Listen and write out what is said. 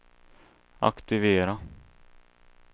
aktivera